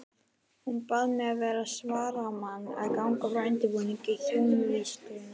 Bað hún mig vera svaramann og ganga frá undirbúningi hjónavígslunnar.